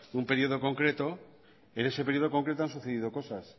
un periodo concreto en ese periodo concreto han sucedido cosas